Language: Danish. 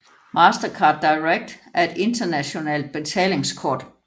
Mastercard Direct er et internationalt betalingskort